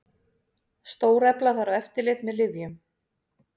Stórefla þarf eftirlit með lyfjum